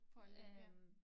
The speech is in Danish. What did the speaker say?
På at leve ja